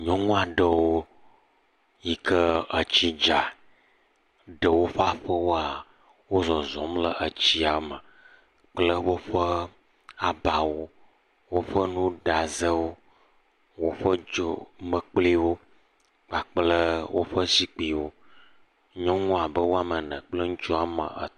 Nyɔnu aɖewo yi ke etsi dza ɖe woƒe aƒewo, wole zɔzɔ̃m le tsia me kple woƒe abawo. Woƒe nuɖazewo, woƒe dzomekpliwo kpakple woƒe zikpuiwo.